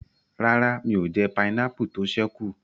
Rárá, mi ò jẹ pineapple tó ṣẹ́ kù